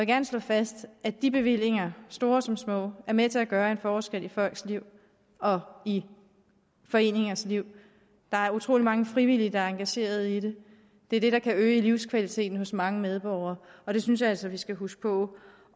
gerne slå fast at de bevillinger store som små er med til at gøre en forskel i folks liv og i foreningers liv der er utrolig mange frivillige der er engageret i det det er det der kan øge livskvaliteten hos mange medborgere og det synes jeg altså vi skal huske på